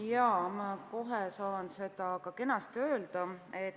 Jaa, ma kohe saan seda öelda.